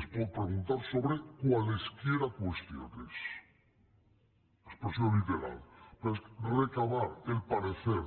es pot preguntar sobre cualesquiera cuestiones expressió literal recabar el parecer